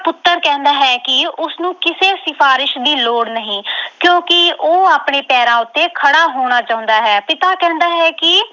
ਪੁੱਤਰ ਕਹਿੰਦਾ ਹੈ ਕਿ ਉਸਨੂੰ ਕਿਸੇ ਸਿਫਾਰਿਸ਼ ਦੀ ਲੋੜ ਨਹੀਂ ਕਿਉਂਕਿ ਉਹ ਆਪਣੇ ਪੈਰਾਂ ਉੱਤੇ ਖੜਾ ਹੋਣਾ ਚਾਹੁੰਦਾ ਹੈ। ਪਿਤਾ ਕਹਿੰਦਾ ਹੈ ਕਿ